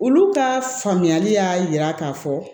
Olu ka faamuyali y'a yira k'a fɔ